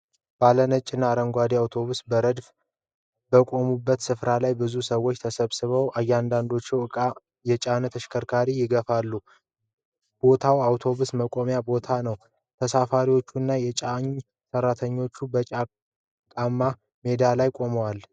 ባለ ነጭ እና አረንጓዴ አውቶቡሶች በረድፍ በቆሙበት ስፍራ ላይ ብዙ ሰዎች ተሰብስበዋል። አንዳንዶቹ ዕቃ የጫኑ ተሽከርካሪዎችን ይገፋሉ። ቦታው የአውቶቡስ መቆሚያ ቦታ ነው። ተሳፋሪዎችና የጫኝ ሰራተኞች በጭቃማ ሜዳው ላይ ቆመዋል።